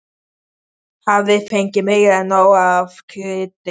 Hafði fengið meira en nóg af því kryddi.